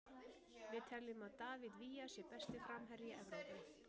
Við teljum að David Villa sé besti framherji Evrópu.